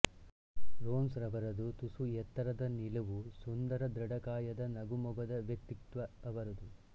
ರೋನ್ಸ್ ರವರದು ತುಸು ಎತ್ತರದ ನಿಲುವುಸುಂದರ ಧೃಡಕಾಯದ ನಗೆಮೊಗದ ವ್ಯಕ್ತಿತ್ವ ಅವರದು